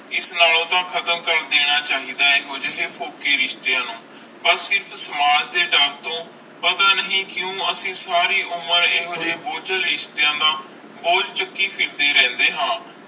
ਇਸ ਨਾਲੋਂ ਤੇ ਖਤਮ ਕਰ ਦੇਣਾ ਚਾਹੀਦਾ ਆਈ ਇਹੋ ਜੇ ਪੋਹਕੀਆਂ ਰਿਸ਼ਤੀਯ ਨੂੰ ਬਸ ਸਿਰਫ ਸਮਾਜ ਦੇ ਡਾਰ ਤੂੰ ਪਤਾ ਨਹੀਂ ਕਿਊ ਅਸੀਂ ਅਸੀਂ ਉਮਰ ਬੋਜਲ ਰਿਸ਼ਤਿਆਂ ਦਾ ਬੋਜ ਚੁਕੀ ਫਿਰਦੇ ਆ